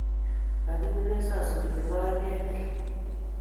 Mokiumen sosuriet ye maen ketil.